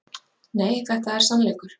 Nei, þetta er sannleikur!